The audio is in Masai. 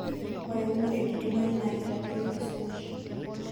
ore eunore naidimayu naa keitadoyuo esumash